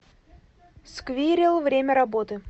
сквирел время работы